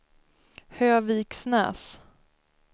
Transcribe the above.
Höviksnäs